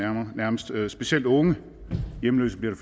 nærmest specielt unge hjemløse bliver